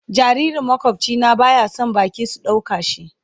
Jaririn makwabci na baya son baki sun dauka shi.